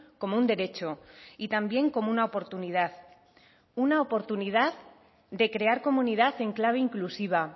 como un derecho y también como una oportunidad una oportunidad de crear comunidad en clave inclusiva